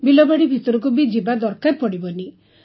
ବିଲବାଡ଼ି ଭିତରକୁ ବି ଯିବା ଦରକାର ପଡ଼ିବନି